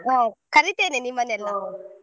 ಹಾ ಕರೀತೇನೆ .